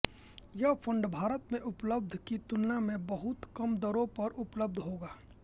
यह फंड भारत में उपलब्ध की तुलना में बहुत कम दरों पर उपलब्ध होगा